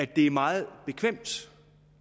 det er meget bekvemt